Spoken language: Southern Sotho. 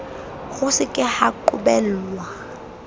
ho se ka ha qobellwa